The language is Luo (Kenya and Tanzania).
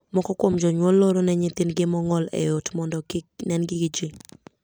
Moko kuom jonyuol loro ne nyithindgi mong'ol ei ot mondo kik nengi gi jii.